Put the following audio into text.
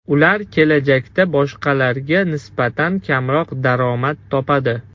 Ular kelajakda boshqalarga nisbatan kamroq daromad topadi.